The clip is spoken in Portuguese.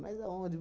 Mas aonde?